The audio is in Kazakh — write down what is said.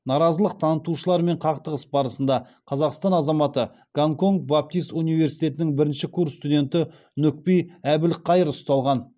наразылық танытушылармен қақтығыс барысында қазақстан азаматы гонконг баптист университетінің бірінші курс студенті нүкпи әбілқайыр ұсталған